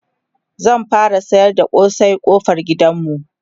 zan fara sayar da kosai ƙofar gidanmu